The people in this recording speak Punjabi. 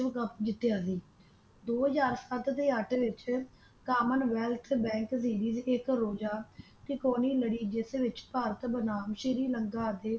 ਵਿਸ਼ਵ ਕੱਪ ਜਿਤਿਆ ਸੀ ਦੋ ਹਾਜਰ ਸੱਤ ਤੇ ਅੱਠ ਵਿਚ ਕਾਮਨ ਵੈਲਥ ਬੈਂਕ ਦੀ ਇਕ ਰੋਜਾ ਟਿਕਉਣੀ ਲੜੀ ਜਿਸ ਵਿਚ ਭਾਰਤ ਦਾ ਨਾਮ ਸ੍ਰੀ ਲੰਕਾ ਅਤੇ